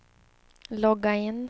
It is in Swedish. logga in